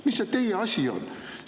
Mis see teie asi on?!